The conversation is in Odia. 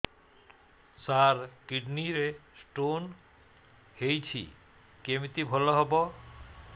ସାର କିଡ଼ନୀ ରେ ସ୍ଟୋନ୍ ହେଇଛି କମିତି ଭଲ ହେବ